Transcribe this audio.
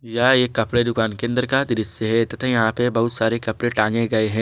यह एक कपड़े दुकान के अंदर का दृश्य है तथा यहां पे बहुत सारे कपड़े टांगे गए हैं।